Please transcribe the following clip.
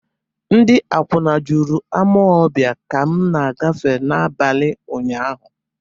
Ndị akwụna juru Amọbịa ka m na-agafe n'abalị ụnyaahụ.